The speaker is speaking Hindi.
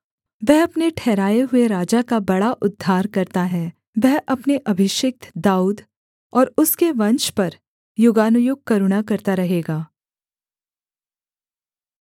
वह अपने ठहराए हुए राजा का बड़ा उद्धार करता है वह अपने अभिषिक्त दाऊद और उसके वंश पर युगानुयुग करुणा करता रहेगा